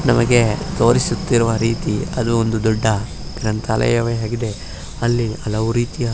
ನಮಗೆ ತೋರಿಸುತ್ತಿರುವ ರೀತಿ ಅದು ಒಂದು ದೊಡ್ಡ ಗ್ರಂತಾಲಯವೆ ಆಗಿದೆ ಅಲ್ಲಿ ಹಲವು ರೀತಿಯ.